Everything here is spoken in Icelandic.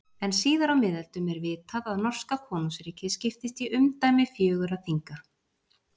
En síðar á miðöldum er vitað að norska konungsríkið skiptist í umdæmi fjögurra þinga.